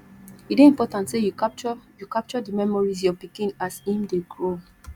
e dey important sey you capture you capture di memories your pikin as im dey grow